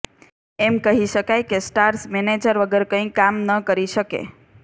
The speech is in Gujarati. એમ કહી શકાય કે સ્ટાર્સ મેનેજર વગર કંઈ કામ ન કરી શકે